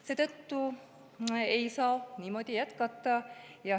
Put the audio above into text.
Seetõttu ei saa niimoodi jätkata.